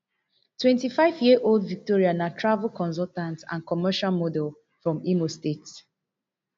twenty-fiveyearold victoria na travel consultant and commercial model from imo state